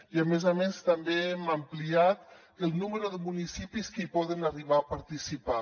i a més a més també hem ampliat el número de municipis que hi poden arribar a participar